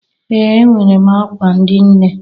Ee! Enwere m akwa ndị nne.